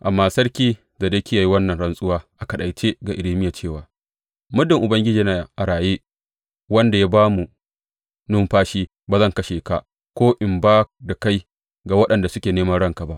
Amma Sarki Zedekiya ya yi wannan rantsuwa a kaɗaice ga Irmiya cewa, Muddin Ubangiji yana a raye, wanda ya ba mu numfashi, ba zan kashe ka ko in ba da kai ga waɗanda suke neman ranka ba.